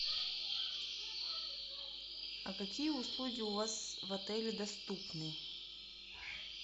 а какие услуги у вас в отеле доступны